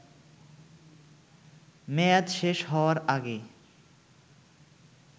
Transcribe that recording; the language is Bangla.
মেয়াদ শেষ হওয়ার আগে